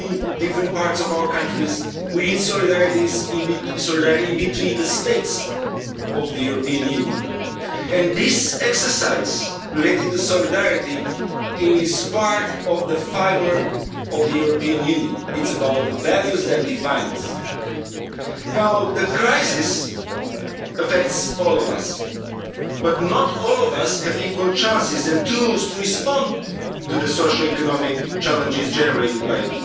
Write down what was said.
We need solidarity between different parts of our countries, we need solidarity between the states of the European Union. And this exercise related to solidarity is part of the fibre of the European Union. It's about the values that define us now. The crisis affects all of us, but not all of us have equal chances and tools to respond to the social and economic challenges generated by